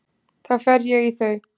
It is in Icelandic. Þá fer ég í þau.